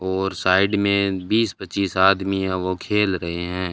और साइड में बीस पच्चीस आदमी हैं वो खेल रहे हैं।